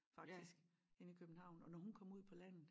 Faktisk inde i København og når hun kom ud på landet